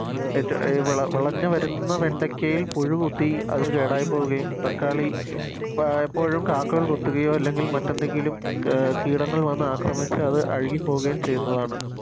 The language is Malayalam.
എറ്റോ അഹ് വിളഞ്ഞ് വരുന്ന വെണ്ടക്കയിൽ പുഴുകുത്തി അത് കേടായിപ്പോകുകയും തക്കാളി പ ഇപ്പോഴും കാക്കകൾ കൊത്തുകയോ അല്ലെങ്കിൽ മറ്റെന്തെങ്കിലും കി കീടങ്ങൾ വന്നാക്രമിച്ച് അത് അഴുകി പോകുകയും ചെയ്യുന്നതാണ്